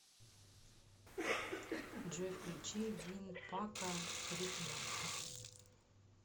джой включи вин па ка рики мартин